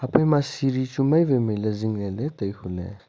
ema seri chu mai wai mailey zingley tai huley.